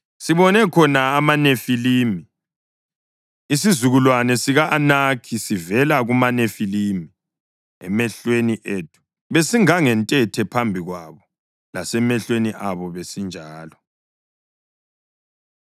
Sibone khona amaNefilimi (isizukulwane sika-Anakhi sivela kumaNefilimi.) Emehlweni ethu besingangentethe phambi kwabo, lasemehlweni abo besinjalo.”